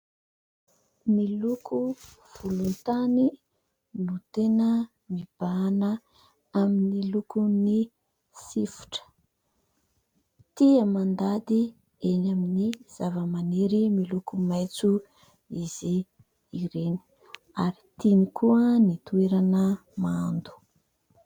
Miloko volon-tany no tena mibahana amin'ny lokon'ny sifotra. Tia mandady eny amin'ny zavamaniry miloko maitso izy ireny ary tiany koa ny toerana mando.